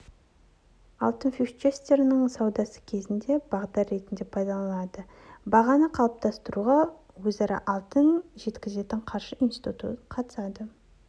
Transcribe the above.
алтын фьючерстерінің саудасы кезінде бағдар ретінде пайдаланылады бағаны қалыптастыруға өзара алтын жеткізетін қаржы институты қатысады